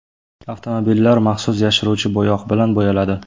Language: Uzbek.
Avtomobillar maxsus yashiruvchi bo‘yoq bilan bo‘yaladi.